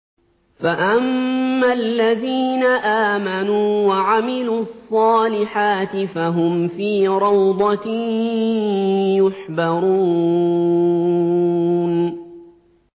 فَأَمَّا الَّذِينَ آمَنُوا وَعَمِلُوا الصَّالِحَاتِ فَهُمْ فِي رَوْضَةٍ يُحْبَرُونَ